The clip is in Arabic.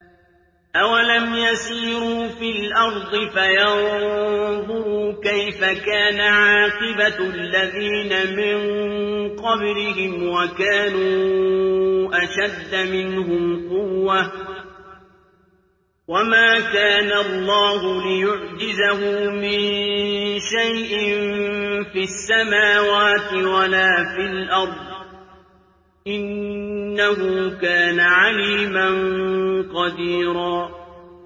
أَوَلَمْ يَسِيرُوا فِي الْأَرْضِ فَيَنظُرُوا كَيْفَ كَانَ عَاقِبَةُ الَّذِينَ مِن قَبْلِهِمْ وَكَانُوا أَشَدَّ مِنْهُمْ قُوَّةً ۚ وَمَا كَانَ اللَّهُ لِيُعْجِزَهُ مِن شَيْءٍ فِي السَّمَاوَاتِ وَلَا فِي الْأَرْضِ ۚ إِنَّهُ كَانَ عَلِيمًا قَدِيرًا